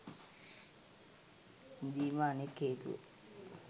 ඉඳීම අනෙක් හේතුව